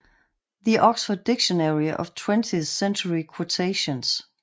The Oxford Dictionary of Twentieth Century Quotations